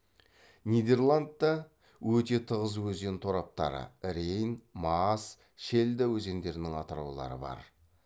нидерландта өте тығыз өзен тораптары рейн маас шельда өзендерінің атыраулары бар